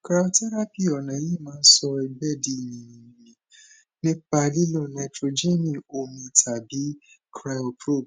cryotherapy ọnà yìí máa ń sọ ẹgbẹ di yìnyín yìnyín nípa lílo nítróẹjẹnì omi tàbí cryoprobe